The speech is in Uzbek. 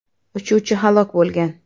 Uchuvchi halok bo‘lgan.